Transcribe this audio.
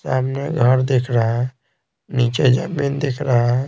सामने घर दिख रहा है नीचे जमीन दिख रहा है।